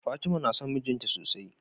Fatima na son mijinta sosai.